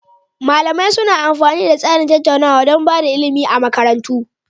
Malamai suna amfani da tsarin tattaunawa don ba da ilimi a makarantu.